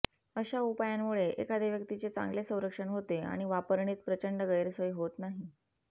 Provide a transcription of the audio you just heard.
अशा उपायांमुळे एखाद्या व्यक्तीचे चांगले संरक्षण होते आणि वापरणीत प्रचंड गैरसोय होत नाही